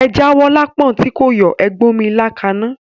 Ẹ jáwó lápọ̀n tí kò yọ̀, Ẹ gbómí ilá kaná.